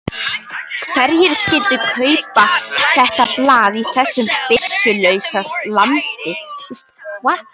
Hverjir skyldu annars kaupa þetta blað í þessu byssulausa landi?